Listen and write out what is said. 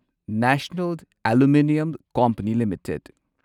national Aluminium Company limited